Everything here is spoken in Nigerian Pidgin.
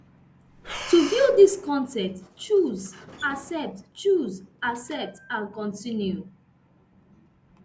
to view dis con ten t choose accept choose accept and continue